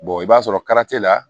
i b'a sɔrɔ la